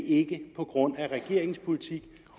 ikke på grund af regeringens politik